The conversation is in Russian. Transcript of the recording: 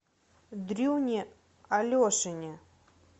дрюне алешине